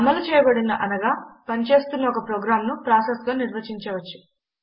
అమలు చేయబడిన అనగా పని చేస్తున్న ఒక ప్రోగ్రామ్ను ప్రాసెస్గా నిర్వచించవచ్చు